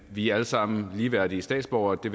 vi alle sammen er ligeværdige statsborgere og det